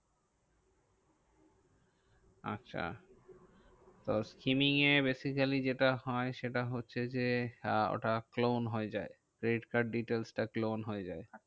আচ্ছা। তো skinning এ basically যেটা হয়, সেটা হচ্ছে যে ওটা clone হয়ে যায়। credit card details টা clone হয়ে যায়।